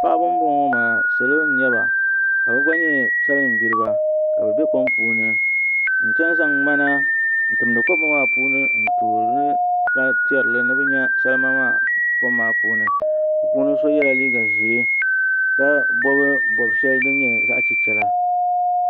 Paɣaba n boŋo ŋo maa salo n nyɛba ka bi gba nyɛ salin gbiriba ka bi bɛ kom puuni n chɛŋ zaŋ ŋmana n tindi kom ŋo maa puuni n toorili ka tiɛrili ni bi nyɛ salima maa kom maa puuni bi puuni so yɛla liiga ʒiɛ ka bob bob shɛli din nyɛ zaɣ chichɛla